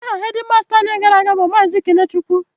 Aha hedịmasta anyị gara aga bụ Maazị Kenechukwu